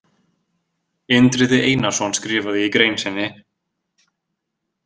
Indriði Einarsson skrifaði í grein sinni: